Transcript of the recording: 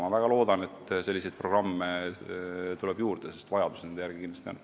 Ma väga loodan, et selliseid programme tuleb juurde, sest nende järele on kindlasti vajadust.